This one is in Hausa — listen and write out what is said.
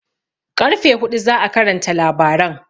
Ƙarfe huɗu za'a karanta labaran